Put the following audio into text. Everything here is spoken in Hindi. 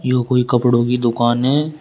यो कोई कपड़ों की दुकान हैं।